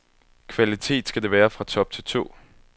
Kvalitet skal det være fra top til tå.